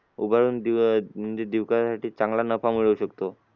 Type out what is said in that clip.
उघडून चांगला नफा मिळवू शकतो.